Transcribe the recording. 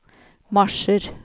marsjer